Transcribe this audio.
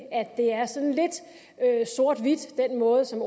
at den måde som